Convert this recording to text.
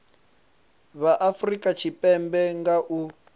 vha afurika tshipembe nga u